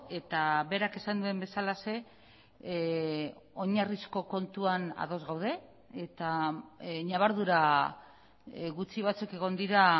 eta berak esan duen bezalaxe oinarrizko kontuan ados gaude eta ñabardura gutxi batzuk egon dira